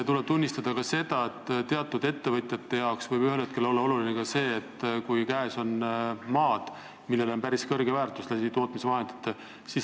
Tuleb tunnistada, et teatud ettevõtjatele võib ühel hetkel olla oluline ka see, kui nende käes on maad, millel on päris kõrge väärtus tänu tootmisvahenditele.